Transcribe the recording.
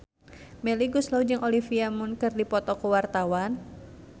Melly Goeslaw jeung Olivia Munn keur dipoto ku wartawan